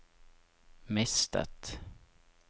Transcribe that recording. mistet